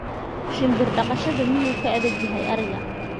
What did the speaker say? shinbir dhaqashada miyuu ka adag yahay ariga